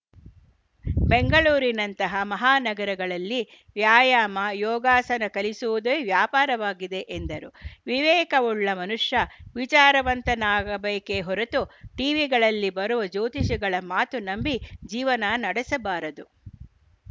ಬೆಂಗಳೂರಿನಂತಹ ಮಹಾನಗರಗಳಲ್ಲಿ ವ್ಯಾಯಾಮ ಯೋಗಸಾನ ಕಲಿಸುವುದೇ ವ್ಯಾಪಾರವಾಗಿದೆ ಎಂದರು ವಿವೇಕವುಳ್ಳ ಮನುಷ್ಯ ವಿಚಾರವಂತನಾಗಬೇಕೇ ಹೊರೆತು ಟಿವಿಗಳಲ್ಲಿ ಬರುವ ಜ್ಯೋತಿಷಿಗಳ ಮಾತು ನಂಬಿ ಜೀವನ ನಡೆಸಬಾರದು